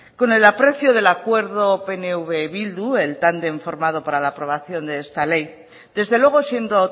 con el aprecio del acuerdo pnv bildu el tándem formado para la aprobación de esta ley desde luego siendo